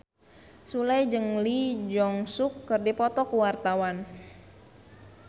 Sule jeung Lee Jeong Suk keur dipoto ku wartawan